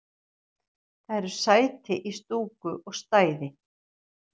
Það eru sæti í stúku og stæði